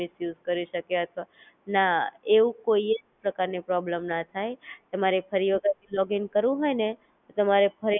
ના એવું કોઈજ પ્રકારની problem ના થાય, તમારે ફરી વખત લોગીન કરવું હોય ને તમારે ફરીથી એ Account Detail ને નાખી ને Login કરવાનું હોય છે,